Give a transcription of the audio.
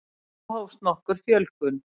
Þá hófst nokkur fjölgun.